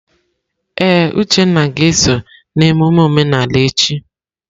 Ee, Uchenna ga-eso na emume omenala echi.